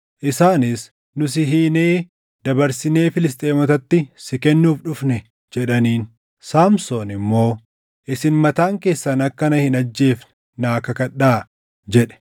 Isaanis, “Nu si hiinee dabarsinee Filisxeemotatti si kennuuf dhufne” jedhaniin. Saamsoon immoo, “Isin mataan keessan akka na hin ajjeefne naa kakadhaa” jedhe.